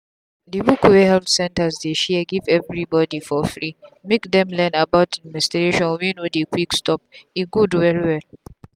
the book wey health center dey share give everybody for freemake them learn about the menstration wey no dey quick stop e good well well.